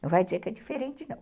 Não vai dizer que é diferente, não.